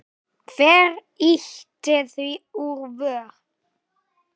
Hver ýtti því úr vör?